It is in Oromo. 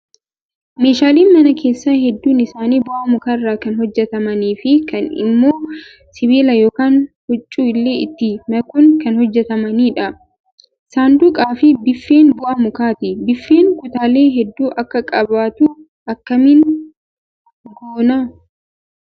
Meeshaaleen mana keessaa hedduun isaanii bu'aa mukaa irraa kan hojjatamanii fi kaan immoo sibiila yookaan huccuu illee itti makuun kan hojjatamanidha. Saanduqaa fi biiffeen bu'aa mukaati. Biiffeen kutaalee hedduu akka qabaatu akkamiin goonaa?